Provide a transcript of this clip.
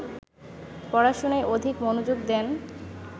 পড়াশুনায় অধিক মনোযোগ দেন